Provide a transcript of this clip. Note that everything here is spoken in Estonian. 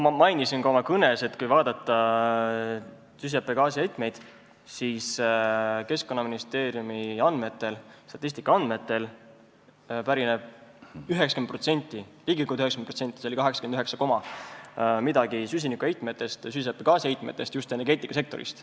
Ma mainisin ka oma kõnes, et Keskkonnaministeeriumi andmetel pärineb ligikaudu 90% süsihappegaasiheitmetest just energeetikasektorist.